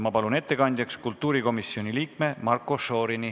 Ma palun ettekandjaks kultuurikomisjoni liikme Marko Šorini.